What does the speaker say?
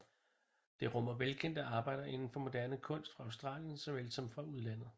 Det rummer velkendte arbejder inden for moderne kunst fra Australien såvel som udlandet